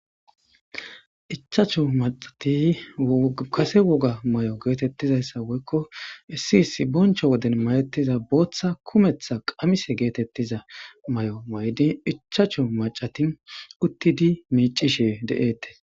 ichacho macati kase woga may7o geetettizayssa woykko issi isi boncho woden mayettiza booththa kumeththa qamise geetettiza may7o may7di ichacho macati uttidi miicishe de7eettes